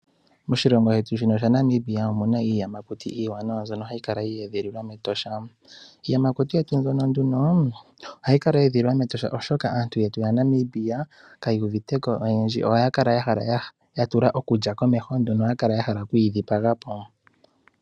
Moshilongo shetu sha Namibia omuna iiyamakuti iiwanawa mbyono hayi kala ya edhililwa mEtosha. Iiyamakuti yetu nduno ohayi kala ya edhililwa mEtosha oshoka, aantu yetu yaNamibia kaya uvite ko oyendji. Ohaya kala ya tula okulya komeho, nduno ohaya kala ya hala oku yi dhipaga po.